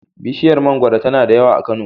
Bishiyar mangoro tana da yawa a Kano.